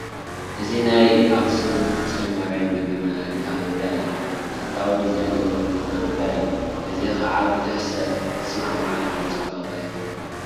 እዚ ናይ ኣኽሱም ፅዮን ማርያም ግቢ መካበቢያ እዩ፡፡ ተፈታዊ ዲዛይን ዘለዎ መካበቢያ እዩ፡፡ እዚ ከዓ ብዙሕ ሰብ ዝስማዕምዓሉ ፅባቐ እዩ፡፡